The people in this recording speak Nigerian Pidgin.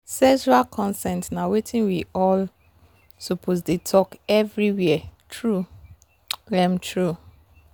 sexual consent na watin we all suppose dey talk everywhere true um true.